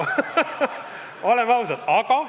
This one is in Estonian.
Oleme ausad!